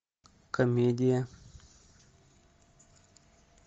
комедия